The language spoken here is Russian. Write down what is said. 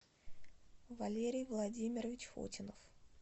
валерий владимирович фотинов